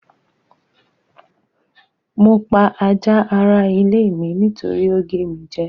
Mo pa ajá ara ilé mi nítorí ó gé mi jẹ́.